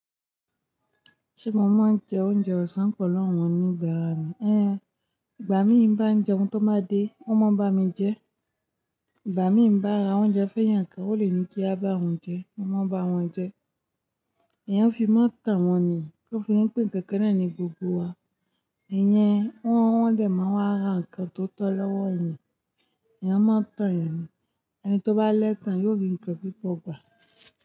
Ṣé mo máa ń jẹ oúnjẹ ọ̀sán pẹ̀lú wọn oníbàárà mi? Ẹ́n, ìgbà mí bá ń jẹun tó bá dé, wọ́n máa ń bá mi jẹ. Ìgbà mí ń bá ara oúnjẹ fẹ́ yàn ǹkan, ó lè ní kí á bá wọn jẹ, mo máa bá wọn jẹ. Ẹ̀yàn ń fi máa tàn wọ́n ni, tó fi ríi pé nkankan náà ní gbogbo wa. Ìyẹn, wọ́n, wọn dẹ̀ máa wá ra ǹkan tó tọ́ lọ́wọ́ ẹ̀yàn, ẹ̀yàn máa ń tàn ẹ̀yàn ni. Ẹni tó bá lẹ́tan, yi ò rí ǹkan púpọ̀ gbà.